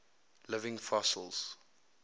living fossils